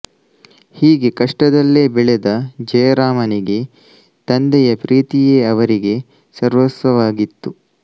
ಹೀಗೆ ಕಷ್ಟದಲ್ಲೆ ಬೆಳೆದ ಜಯರಾಮನಿಗೆ ತಂದೆಯ ಪ್ರೀತಿಯೇ ಅವರಿಗೆ ಸರ್ವಸ್ವ ವಾಗಿತ್ತು